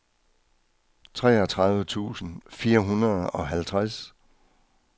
treogtredive tusind fire hundrede og halvtreds